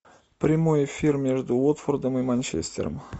прямой эфир между уотфордом и манчестером